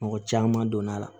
Mɔgɔ caman donna a la